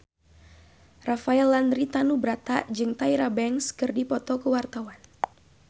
Rafael Landry Tanubrata jeung Tyra Banks keur dipoto ku wartawan